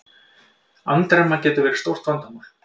Andremma getur verið stórt vandamál.